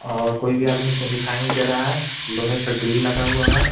और कोई भी आदमी इसमें दिखाई नहीं दे रहा है लोहे का ग्रिल लगा हुआ है.